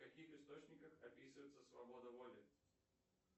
в каких источниках описывается свобода воли